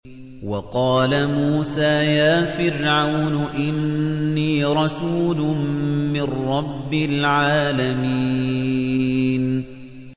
وَقَالَ مُوسَىٰ يَا فِرْعَوْنُ إِنِّي رَسُولٌ مِّن رَّبِّ الْعَالَمِينَ